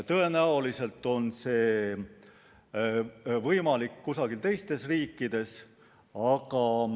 Tõenäoliselt on see võimalik kusagil teistes riikides.